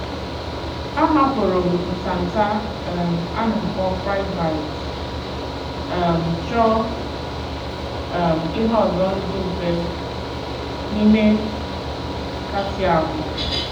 A hapụrụ m ntanta um a na akpọ friedbites, um chọọ um ihe ọzọ ndị mfe n;ime kàtị ahụ.